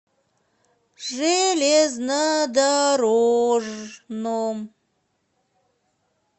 железнодорожном